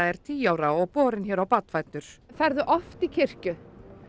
er tíu ára og borinn hér og barnfæddur ferðu oft í kirkju